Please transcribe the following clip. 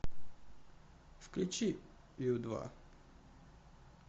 включи ю два